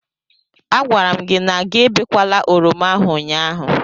A gwara m gi na gị ebekwala oroma ahụ ụnyaahụ.